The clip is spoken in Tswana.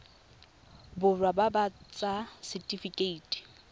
borwa ba ba ts setifikeite